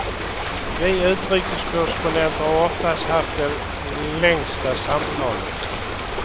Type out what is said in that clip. Vi utrikeskorrespondenter har oftast haft de längsta samtalen.